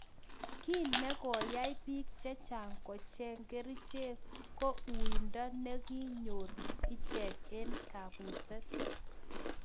Kiy ne koyai biik chechang kocheng kericheek ko uinde nekonyor icheck eng kabuset.